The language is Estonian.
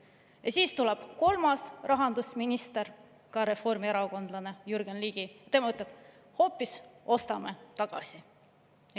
Ja siis tuleb kolmas rahandusminister, ka reformierakondlane, Jürgen Ligi, tema ütleb: ostame hoopis tagasi.